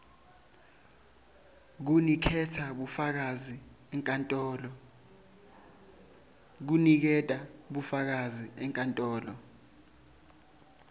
kuniketa bufakazi enkantolo